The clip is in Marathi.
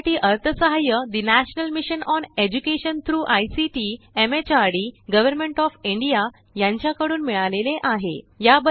यासाठी अर्थसहाय्य ठे national mission on education through ICT MHRD government of India कडून मिळाले आहे